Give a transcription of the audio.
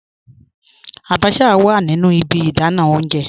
Àbàchà wà nínu ìbí ìdánà ọ̀unjẹ